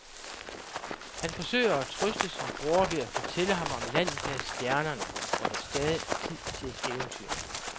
Han forsøger at trøste sin bror ved at fortælle ham om landet bag stjernerne, hvor der stadig er tid til eventyr.